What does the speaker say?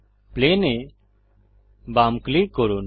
plane এ বাম click করুন